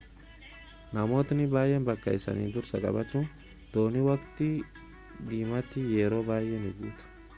namootni baay’een bakka isaanii dursa qabatu dooniin waqtii cimaatti yeroo baay’ee ni guutu